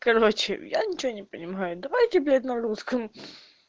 короче я ничего не понимаю давай теперь на русском